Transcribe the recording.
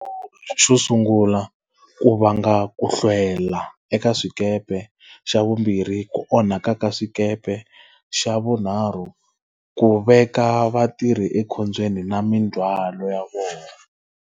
Xo sungula ku vanga ku hlwela eka swikepe, xa vumbirhi ku onhaka ka swikepe, xa vunharhu ku veka vatirhi ekhombyeni na mindzhwalo ya vona.